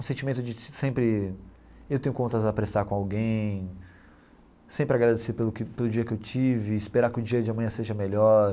O sentimento de sempre, eu tenho contas a prestar com alguém, sempre agradecer pelo que pelo dia que eu tive, esperar que o dia de amanhã seja melhor.